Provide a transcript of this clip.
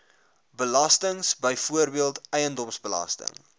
belastings byvoorbeeld eiendomsbelasting